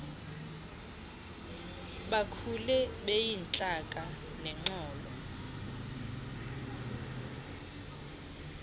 bakhule beyintlaka nexolo